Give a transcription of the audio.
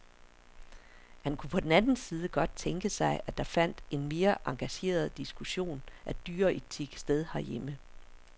Han kunne på den anden side godt tænke sig, at der fandt en mere engageret diskussion af dyreetik sted herhjemme.